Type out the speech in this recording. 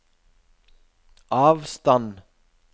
avstand